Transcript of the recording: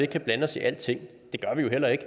kan blande os i alting det gør vi jo heller ikke